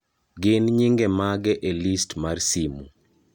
gin nyinge mage e list mar simu